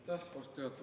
Aitäh, austatud juhataja!